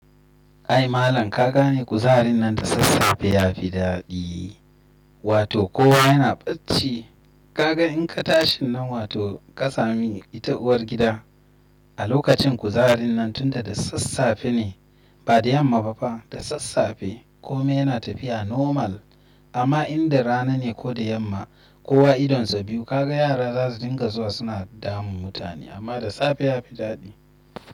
Ai malam ka gane kuzarin nan da sassafe ya fi daɗi, wato kowa yana bacci. Ka ga in ka tashin nan wato ka sami ita uwar gida a lokacin kuzarin nan tunda da sassafe ne ba da yamma ba fa da sassafe kome yana tafiya normal. Amma in da rana ne ko da yamma kowa idonsa biyu kaga yara za su dinga zuwa suna damun mutane amma da safe ya fi daɗi.